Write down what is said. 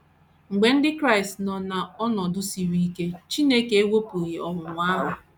Mgbe ndị Kraịst nọ n’ọnọdụ siri ike, Chineke ewepụghị ọnwụnwa ahụ.